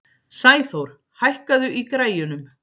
Sæþór, hækkaðu í græjunum.